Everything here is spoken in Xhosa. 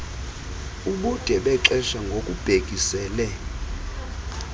ubude bexesha ngokubhekisele